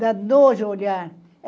Dá nojo olhar.